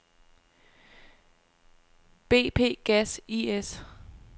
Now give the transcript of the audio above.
BP Gas I/S